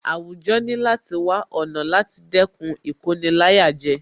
Àwùjọ ní láti wá ọ̀nà láti dẹ́kun Ìkoni-láyàjẹ